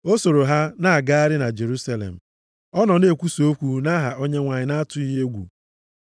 O soro ha na-agagharị na Jerusalem. Ọ na-ekwusakwa okwu nʼaha Onyenwe anyị na-atụghị egwu.